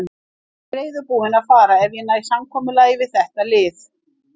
Ég er reiðubúinn að fara ef ég næ samkomulagi við þetta lið.